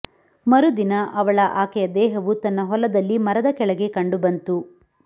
ಮರುದಿನ ಅವಳ ಆಕೆಯ ದೇಹವು ತನ್ನ ಹೊಲದಲ್ಲಿ ಮರದ ಕೆಳಗೆ ಕಂಡುಬಂತು